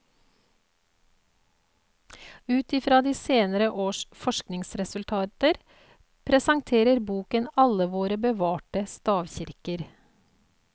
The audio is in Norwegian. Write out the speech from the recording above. Ut i fra senere års forskningsresultater presenterer boken alle våre bevarte stavkirker.